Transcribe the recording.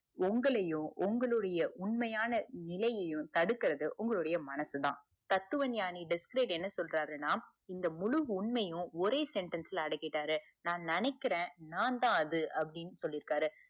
உங்களையும் உங்களுடைய உண்மையான நிலையையும் தடுக்குறது உங்களோட மனசுதான் தத்துவ ஞாணி disglade என்ன சொல்றருணா இன்ஷா முழு உண்மையும் ஒரே sentence ல அட்க்கிட்டாறு நான் நெனைக்குறேன் நான்தான் அப்புடின்னு சொல்லிருக்காரு